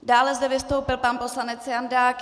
Dále zde vystoupil pan poslanec Jandák.